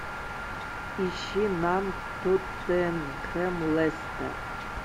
ищи нам тоттенхэм лестер